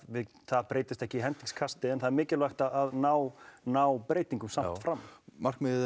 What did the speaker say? það breytist ekki í hendingskasti en það er mikilvægt að ná ná breytingum samt fram markmiðið